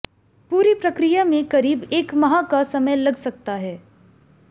पूरी प्रक्रिया में करीब एक माह का समय लग सकता है